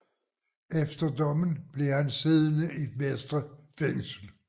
Efter dommen blev han siddende i Vestre Fængsel